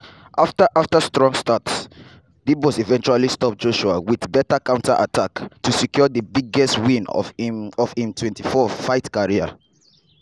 afta strong start dubois eventually stop joshua wit better counter attack to secure di biggest win of im of im 24-fight career.